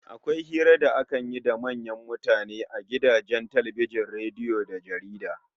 Akwai hira da akan yi da manyan mutane a gidajen talbijin, rediyo da jaridu